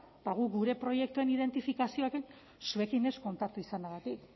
eta guk gure proiektuen identifikazioarekin zuekin ez kontaktua izanagatik